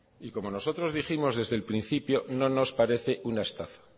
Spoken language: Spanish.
y como nosotros dijimos desde el principio no nos parece una estafa